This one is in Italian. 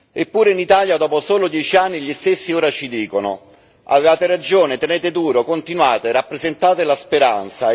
Eppure in Italia, dopo solo dieci anni, gli stessi ora ci dicono avevate ragione, tenete duro, continuate, rappresentate la speranza.